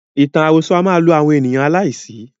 Ìtàn àròsọ a máa lo àwọn ènìyàn aláìsí.